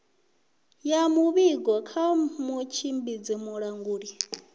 ya muvhigo kha mutshimbidzi mulanguli